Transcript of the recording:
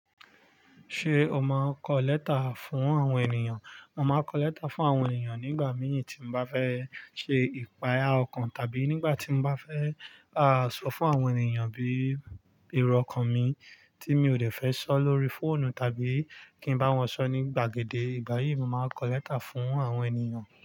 Ṣé o máa ń kọ lẹ́tà fún àwọn ènìyàn? Mo máa kọ lẹ́tà fún àwọn ènìyàn nígbà mí tí ń bá fẹ́ ṣe ìpàyà ọkàn tàbí nígbà tí ń bá fẹ́, ah, sọ fún àwọn ènìyàn bí éró ọkàn mi tí mi ò dẹ̀ fẹ́ sọ lóri fóònù tàbí kí ń bá wọn sọ ní gbàgede. Ìgbà yìí mo máa ń kọ lẹ́tà fún àwọn ènìyàn.